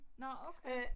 Nåh okay